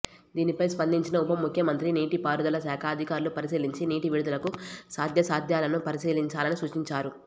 దీనిపై స్పందించిన ఉపముఖ్యమంత్రి నీటిపారుదల శాఖ అధికారులు పరిశీలించి నీటి విడుదలకు సాధ్యాసాధ్యాలను పరిశీ లించాలని సూచించారు